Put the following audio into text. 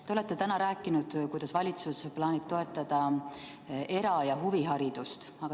Te olete täna rääkinud, kuidas valitsus plaanib toetada era- ja huviharidust.